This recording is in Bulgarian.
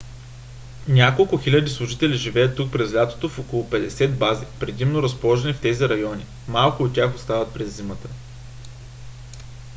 няколко хиляди служители живеят тук през лятото в около петдесет бази предимно разположени в тези райони; малко от тях остават през зимата